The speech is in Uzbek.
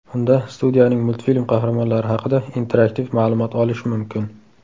Unda, studiyaning multfilm qahramonlari haqida interaktiv ma’lumot olish mumkin.